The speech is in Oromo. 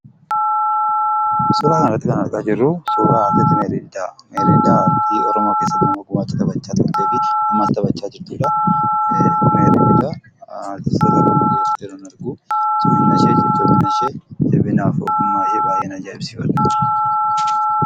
Suuraa kana irratti kan argaa jirruu, suuraa Meerii Didhaa aartii Oromoo keessatti nama gumaacha guddaa taphachaa turtee fi ammas taphachaa jirtudha. Aartistoota Oromoo akkasitti yeroo jiran arguun arguun cimanaa fi ogummaa ishee baayyeen ajaa'ibsiifadha.